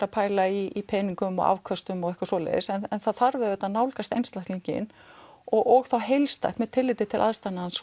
að pæla í peningum og afköstum og eitthvað svoleiðis en það þarf auðvitað að nálgast einstaklinginn og þá heilstætt með tilliti til aðstæðna hans